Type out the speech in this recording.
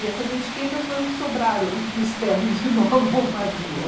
E essas etiquetas foi o que sobraram dos ternos que meu avô fazia.